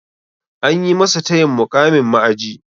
Anyi masa tayin muƙamin ma'aji.